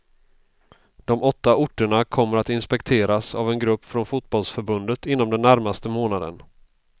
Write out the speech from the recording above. De åtta orterna kommer att inspekteras av en grupp från fotbollförbundet inom den närmaste månaden.